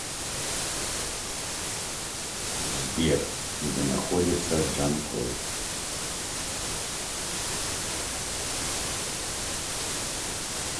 сбер где находится джанкой